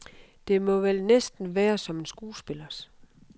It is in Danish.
Det må vel næsten være som en skuespillers.